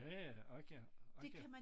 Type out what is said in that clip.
Ja ja ork ja ork ja